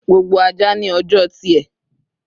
Gbogbo aja ni ọjọ tiẹ